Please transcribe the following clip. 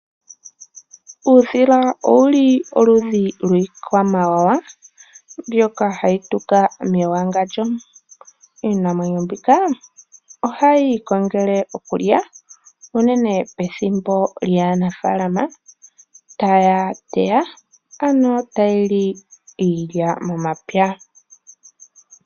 Uudhili owuli oludhi lwii kwamawawa mbyoka hayi tuka mewangandjo. Iinamwenyo mbika ohayi ikongele okulya unene pethimbo lya nafaalama taya teta, ano tayili iilya mo mapya.